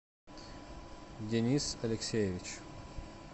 денис алексеевич